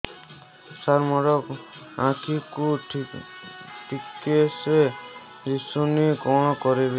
ସାର ମୋର ଆଖି କୁ ଠିକସେ ଦିଶୁନି କଣ କରିବି